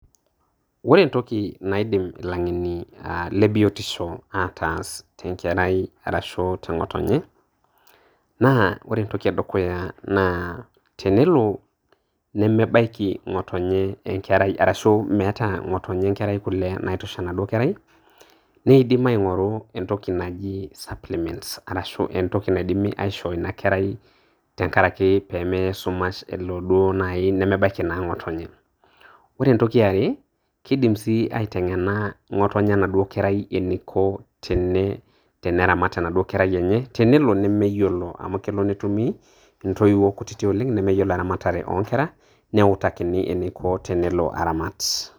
Kore entoki naidim ilaing'eni le biotisho ataas te ng'erai arashu teng'otonye, naa kore entoki e dukuya naa tenelo nemeibaiki ng'otonye enkerai arashu meeta ng'otonye enkerai kule naitosha enaduo kerai neeidim aing'oru entoki naji supplements arashu entoki naidimi aisho ina kerai tengarake pemeya esumash elo duo naaji nemebaiki ng'otonye. Ore entoki e are keidim sii aiteng'ena ng'otenye anaduo kerai eneiko teneramat enaduoo kerai enye tenelo nemeiyiolo amu elo netumi ntoiwuo kutitin oleng' nemeyiolo eramatare oomkera neutakini eneiko peelo aramat.